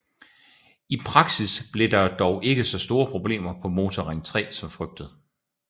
I praksis blev der dog ikke så store problemer på Motorring 3 som frygtet